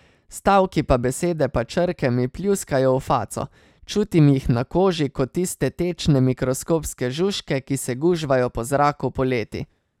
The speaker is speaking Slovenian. Stavki pa besede pa črke mi pljuskajo v faco, čutim jih na koži ko tiste tečne mikroskopske žužke, ki se gužvajo po zraku poleti.